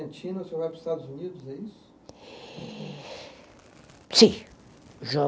o senhor vai para os Estados Unidos, é isso? Sim